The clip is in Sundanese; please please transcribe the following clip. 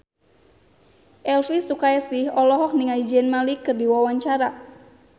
Elvy Sukaesih olohok ningali Zayn Malik keur diwawancara